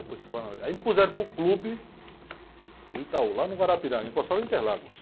Depois. Aí me puseram para o clube do, lá no Guarapiranga, encostado em Interlagos.